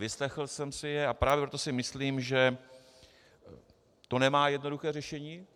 Vyslechl jsem si je, a právě proto si myslím, že to nemá jednoduché řešení.